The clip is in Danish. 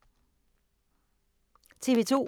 TV 2